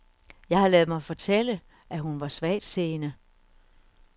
Jeg har ladet mig fortælle, at hun var svagtseende.